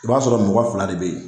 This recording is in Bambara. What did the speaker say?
I b'a sɔrɔ mɔgɔ fila de be yen